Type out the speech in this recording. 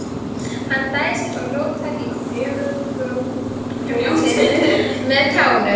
Hann dæsir og rótar í fjörugrjótinu með tánum.